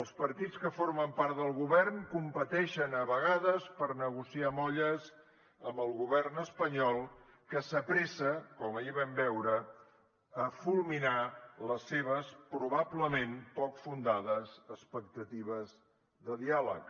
els partits que formen part del govern competeixen a vegades per negociar molles amb el govern espanyol que s’apressa com ahir vam veure a fulminar les seves probablement poc fundades expectatives de diàleg